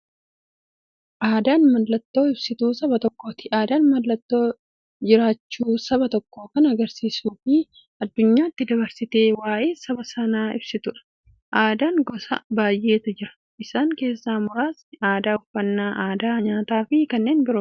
Aadaan mallattoo ibsituu saba tokkooti. Aadaan mallattoo jiraachuu saba tokkoo kan agarsiistufi addunyyaatti dabarsitee waa'ee saba sanaa ibsituudha. Aadaan gosa baay'eetu jira. Isaan keessaa muraasni aadaa, uffannaa aadaa nyaataafi kan biroo.